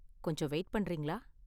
கொஞ்சம் வெயிட் பண்றீங்களா?